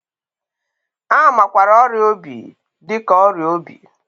A makwaara ọrịa obi dị ka ọrịa obi.